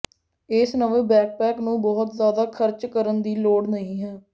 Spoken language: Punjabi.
ਇਸ ਨਵੇਂ ਬੈਕਪੈਕ ਨੂੰ ਬਹੁਤ ਜ਼ਿਆਦਾ ਖਰਚ ਕਰਨ ਦੀ ਲੋੜ ਨਹੀਂ ਹੈ